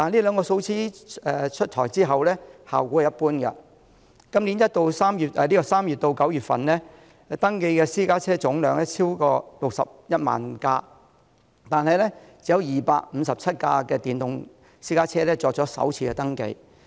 然而，這兩項措施出台後的效果一般，今年3月至9月，登記的私家車總量超過61萬輛，但只有257輛電動私家車作首次登記。